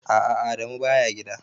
A'a Adamu baya gida.